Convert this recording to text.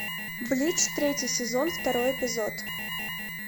блич третий сезон второй эпизод